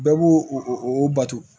Bɛɛ b'o o bato